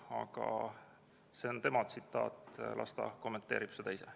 Aga see on tsitaat, las ta kommenteerib seda ise.